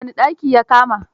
Wane daki ya kama?